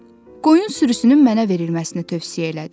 Qoyun sürüsünün mənə verilməsini tövsiyə elədi.